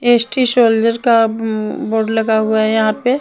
S T soldier का board लगा हुआ है यहां पे--